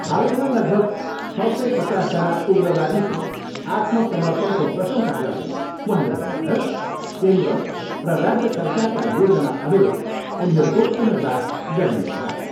हालैमा लगभग छ सय पचासजना उग्रवादीको आत्मसमपर्णको प्रशंसा गर्दै उहाँले भन्नुभयो, केन्द्र र राज्य सरकारका योजना अनुरूप उनीहरूको पुनर्वास गरिनेछ।